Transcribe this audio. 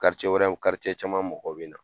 wɛrɛw caman mɔgɔw be na.